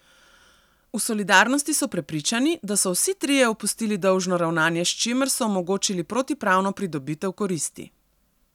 V Solidarnosti so prepričani, da so vsi trije opustili dolžno ravnanje s čimer so omogočili protipravno pridobitev koristi.